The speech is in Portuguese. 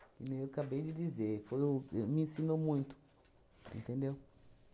Que nem eu acabei de dizer foi o e me ensinou muito, entendeu?